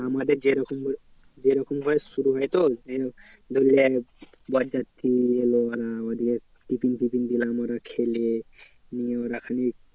আমাদের যেরকম ভাবে যেরকম ভাবে শুরু হয় তো ধরলে বরযাত্রী এলো আমাদের ওরা খেলে নিয়ে ওরা খালি